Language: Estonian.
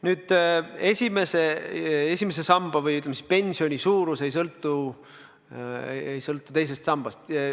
On väide, et esimese samba või, ütleme, pensioni suurus ei sõltu teisest sambast.